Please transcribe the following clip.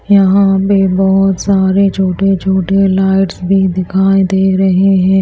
यहां पे बहोत सारे छोटे छोटे लाइट्स भी दिखाई दे रहे हैं।